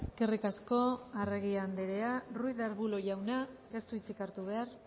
eskerrik asko arregi andrea ruiz de arbulo jauna ez du hitzik hartu behar